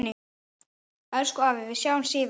Elsku afi, við sjáumst síðar.